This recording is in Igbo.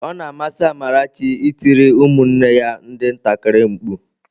Ọ na amasị Amarachi ị tiri ụmụnne ya ndị ntakịrị mkpu.